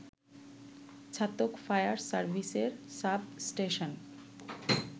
Chhatak fire সার্ভিসের sub station